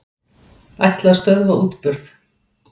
Ætla að stöðva útburð